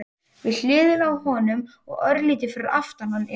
Við hliðina á honum og örlítið fyrir aftan hann er